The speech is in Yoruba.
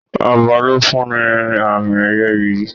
Ọba ló fún ní àmì ẹyẹ ìyí.